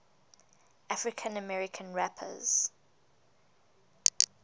african american rappers